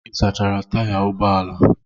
Ị sachara taya ụgbọ ala?